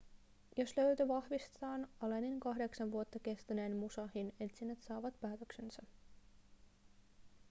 jos löytö vahvistetaan allenin kahdeksan vuotta kestäneet musashin etsinnät saavat päätöksensä